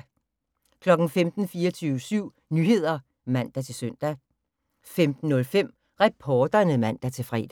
15:00: 24syv Nyheder (man-søn) 15:05: Reporterne (man-fre)